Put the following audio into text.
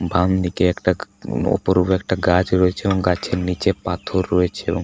বামদিকে একটা অপরূপ একটা গাছ রয়েছে এবং গাছের নিচে পাথর রয়েছে ।